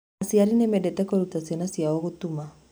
Aciari nĩ mendete kũruta ciana ciao gũtuma.